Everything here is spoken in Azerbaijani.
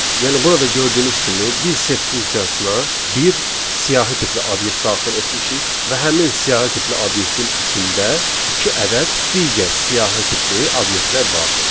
Yəni burada gördüyünüz kimi biz set funksiyasına bir siyahı tipli obyekt daxil etmişik və həmin siyahı tipli obyektin içində iki ədəd digər siyahı tipli obyektlər vardır.